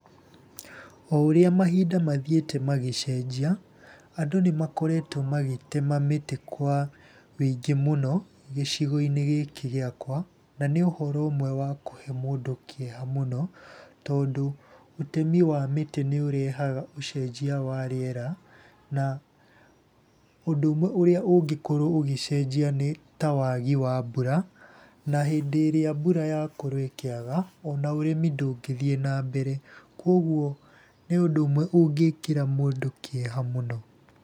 O ũrĩa mahinda mathiĩte magĩcenjia, andũ nĩ makoretwo magĩtema mĩtĩ kwa wĩingĩ mũno, gĩcigo-inĩ gĩkĩ giakwa. Na nĩ ũhoro ũmwe wa kũhe mũndũ kĩeha mũno, tondũ ũtemi wa mĩtĩ nĩ ũrehaga ũcenjia wa rĩera, na ũndũ ũmwe ũrĩa ũngĩkorwo ũgĩcenjia nĩ ta wagi wa mbura, na hĩndĩ ĩrĩa mbura yakorwo ĩkĩaga ona ũrĩmi ndũngĩthiĩ na mbere, koguo nĩ ũndũ ũmwe ũngĩĩkĩra mũndũ kĩeha mũno.